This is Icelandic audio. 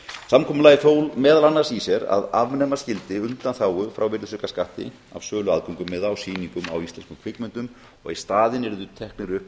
samkomulagið fól meðal annars í sér að afnema skyldi undanþágu frá virðisaukaskatti af sölu aðgöngumiða á sýningum á íslenskum kvikmyndum og að í staðinn yrðu teknir upp